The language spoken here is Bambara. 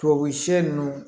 Tubabu siɲɛ ninnu